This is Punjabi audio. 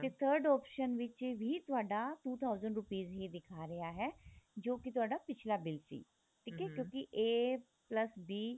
ਤੇ third option ਵਿੱਚ ਵੀ ਤੁਹਾਡਾ two thousand rupees ਹੀ ਦਿਖਾ ਰਿਹਾ ਹੈ ਜੋ ਕੀ ਤੁਹਾਡਾ ਪਿੱਛਲਾ bill ਸੀ ਠੀਕ ਏ ਕਿਉਂਕਿ a plus b